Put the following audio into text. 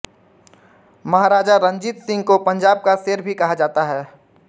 महाराजा रंजीत सिंह को पंजाब का शेर भी कहा जाता था